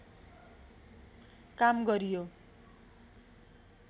काम गरियो